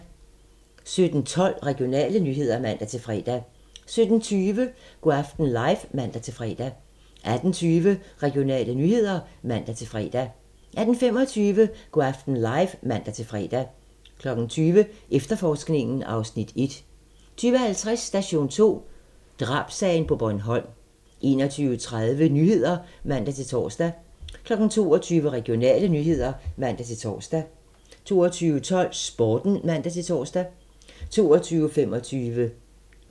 17:12: Regionale nyheder (man-fre) 17:20: Go' aften live (man-fre) 18:20: Regionale nyheder (man-fre) 18:25: Go' aften live (man-fre) 20:00: Efterforskningen (Afs. 1) 20:50: Station 2: Drabssagen på Bornholm 21:30: Nyhederne (man-tor) 22:00: Regionale nyheder (man-tor) 22:12: Sporten (man-tor) 22:25: Natholdet (man-tor)